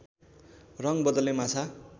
रङ बदल्ने माछा